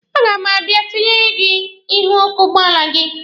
A ga m abịa itinyere gị ihu ọkụ ụgbọala gị.